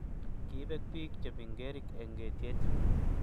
Kibek bik che mingerik eng etiet